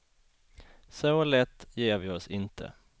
Så lätt ger vi oss inte.